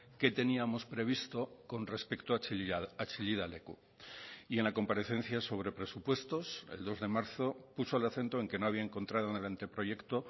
qué teníamos previsto con respecto a chillida leku y en la comparecencia sobre presupuestos el dos de marzo puso el acento en que no había encontrado en el anteproyecto